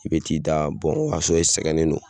I be t'i da o y'a sɔrɔ e sɛgɛnnen don